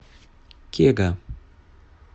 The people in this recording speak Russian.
кега